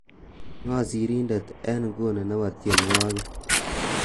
ng'o sirindet enguni nebo tienywogik